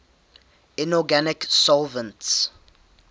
inorganic solvents